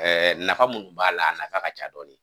nafa minnu b'a la, a nafa ka ca dɔɔni